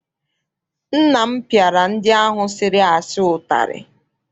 Nna m piara ndị ahụ sịrị asị utari.